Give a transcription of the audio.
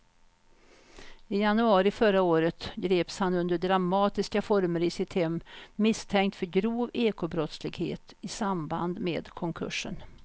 I januari förra året greps han under dramatiska former i sitt hem misstänkt för grov ekobrottslighet i samband med konkursen.